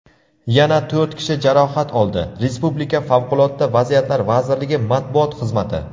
yana to‘rt kishi jarohat oldi – respublika Favqulodda vaziyatlar vazirligi matbuot xizmati.